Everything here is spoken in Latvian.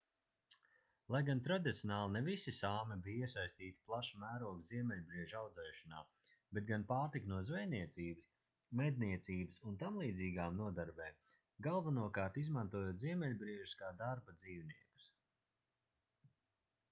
lai gan tradicionāli ne visi sāmi bija iesaistīti plaša mēroga ziemeļbriežu audzēšanā bet gan pārtika no zvejniecības medniecības un tamlīdzīgām nodarbēm galvenokārt izmantojot ziemeļbriežus kā darba dzīvniekus